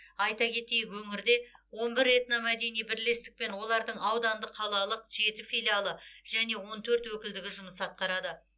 айта кетейік өңірде он бір этномәдени бірлестік пен олардың аудандық қалалық жеті филиалы және он төрт өкілдігі жұмыс атқарады